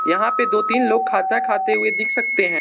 यहां पे दो तीन लोग खाता खाते दिख सकते है।